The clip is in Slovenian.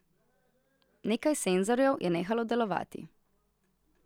Nekaj senzorjev je nehalo delovati.